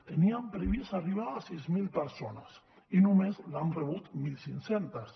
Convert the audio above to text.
tenien previst arribar a sis mil persones i només l’han rebut mil cinc cents